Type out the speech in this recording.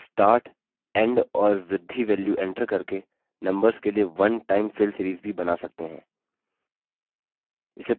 आप start end और बृद्धि values एंटर करके numbers के लिए one time fill series भी बना सकते हैं